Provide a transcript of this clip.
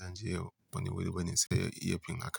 yanzu yau bani wuri bane sai iyafin aka.